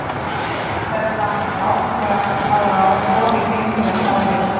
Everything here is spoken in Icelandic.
Því næst verður hann að ákveða hvaða rofi gengur að hvaða ljósaperu.